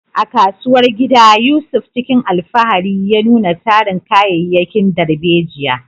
A kasuwar gida, Yusuf cikin alfahari ya nuna tarin kayayyakin darbejiya.